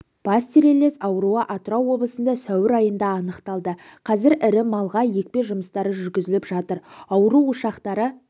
пастереллез ауруы атырау облысында сәуір айында анықталды қазір ірі малға екпе жұмыстары жүргізіліп жатыр ауру ошақтары